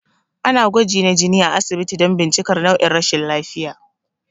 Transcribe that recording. Ana gwaji na jini a asibiti don bincikar nau'in rashin lafiya